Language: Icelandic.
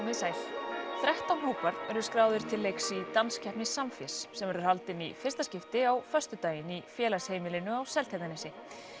þið sæl þrettán hópar eru skráðir til leiks í danskeppni Samfés sem verður haldin í fyrsta skipti á föstudaginn í félagsheimilinu á Seltjarnarnesi